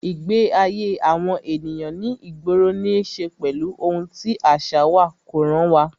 Ìgbé ayé àwọn ènìyàn ní ìgboro ní ṣe pẹ̀lú ohun tí àṣà wa, kó ràn wá